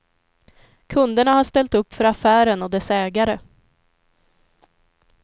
Kunderna har ställt upp för affären och dess ägare.